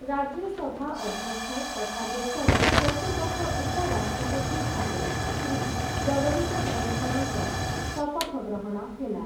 ରାଜ୍ୟସଭା ଅଧ୍ୟକ୍ଷ ତଥା ଦେଶର ଚତୁର୍ଦ୍ଦଶ ଉପରାଷ୍ଟ୍ରପତି ଭାବେ ଶ୍ରୀ ଜଗଦୀପ ଧନଖଡ଼ଙ୍କ ଶପଥ ଗ୍ରହଣ ହେଲା ।